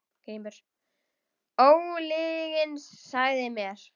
GRÍMUR: Ólyginn sagði mér.